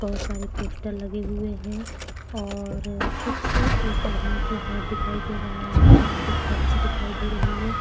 बोहोत सारे पोस्टर लगे हुए है और कुछ एक आदमी के हाथ दिखाई दे रहा है बाहर एक पर्ची दिखाई दे रही हैं।